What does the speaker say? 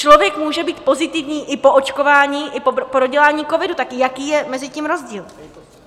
Člověk může být pozitivní i po očkování, i po prodělání covidu, tak jaký je mezi tím rozdíl?